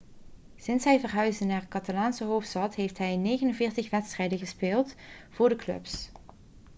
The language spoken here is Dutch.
sinds hij verhuisde naar de catalaanse hoofdstad heeft hij 49 wedstrijden gespeeld voor de club